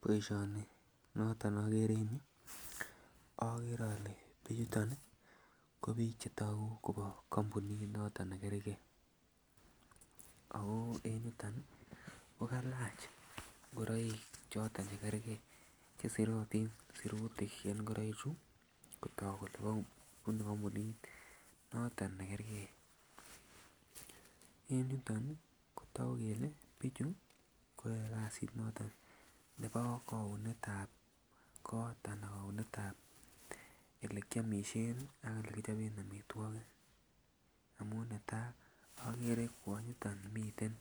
Boishoni noton neokere en yuu okere ole bichuton nii ko bik chetoku Kobo kompunit noton nekergee, akoo en yuton nii ko kalach ingoroik choton chekergee chesirotin sirutik en igoroik chuu kotok kole bunu kompunit noton nekergee. En yuton nii kotoku kele bichu koyoe kasit noton nebo kounetab kot anan kounetab olekiomishen ak olekichoben omitwokik amun natai okere kwonyoton miten